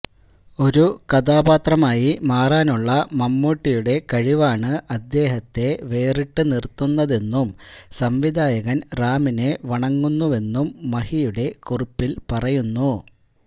ഒരു കഥാപാത്രമായി മാറാനുള്ള മമ്മൂട്ടിയുടെ കഴിവാണ് അദ്ദേഹത്തെ വേറിട്ട് നിര്ത്തുന്നതെന്നും സംവിധായകന് റാമിനെ വണങ്ങുന്നുവെന്നും മഹിയുടെ കുറിപ്പില് പറയുന്നു